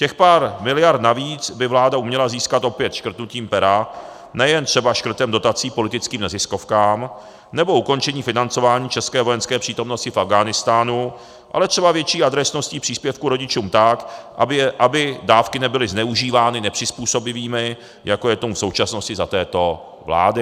Těch pár miliard navíc by vláda uměla získat opět škrtnutím pera, nejen třeba škrtem dotací politickým neziskovkám nebo ukončením financování české vojenské přítomnosti v Afghánistánu, ale třeba větší adresností příspěvků rodičům tak, aby dávky nebyly zneužívány nepřizpůsobivými, jako je tomu v současnosti za této vlády.